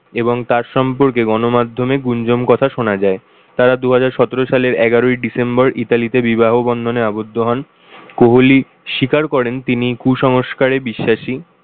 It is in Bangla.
এবং তার সম্পর্কে গণ-মার্ধমে গুঞ্জন কথা শোনা যায়। তারা দুহাজার সতেরো সালের এগারোই december ইতালিতে বিবাহ বন্ধনে আবদ্ধ হন। কোহলি স্বীকার করেন তিনি কু-সংস্কারে বিশ্বাসী।